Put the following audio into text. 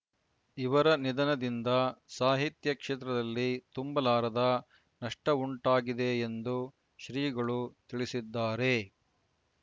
ಇವರ ನಿಧನದಿಂದ ಸಾಹಿತ್ಯ ಕ್ಷೇತ್ರದಲ್ಲಿ ತುಂಬಲಾರದ ನಷ್ಟಉಂಟಾಗಿದೆ ಎಂದು ಶ್ರೀಗಳು ತಿಳಿಸಿದ್ದಾರೆ